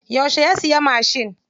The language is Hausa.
Yauce ya siya mashin?